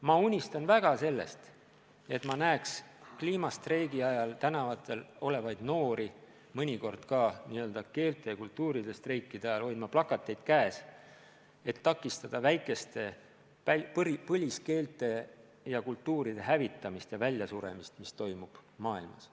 Ma unistan väga sellest, et ma näeks kliimastreikide kõrval tänavatel olevaid noori mõnikord ka n-ö keelte ja kultuuride streikide ajal hoidmas plakateid, et takistada väikeste põliskeelte ja -kultuuride hävitamist ja väljasuremist, mis maailmas paraku toimub.